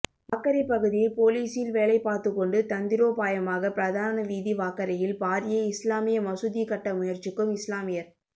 வாகரை பகுதியில் பொலிசில் வேலை பார்த்துக்கொண்டு தந்திரோபாயமாக பிரதான வீதீ வாகரையில் பாரிய இஸ்லாமிய மசூதி கட்ட முயற்சிக்கும் இஸ்லாமியர்